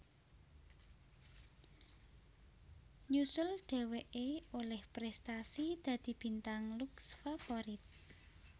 Nyusul dheweké olih prestasi dadi Bintang Lux Favorit